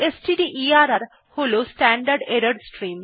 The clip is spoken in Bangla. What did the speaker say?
স্টডারের হল স্ট্যান্ডার্ড এরর স্ট্রিম